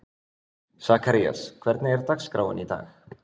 Sakarías, hvernig er dagskráin í dag?